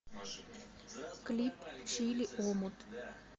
клип чили омут